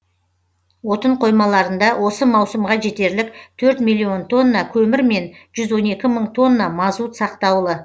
отын қоймаларында осы маусымға жетерлік төрт миллион тонна көмір мен жүз он екі мың тонна мазут сақтаулы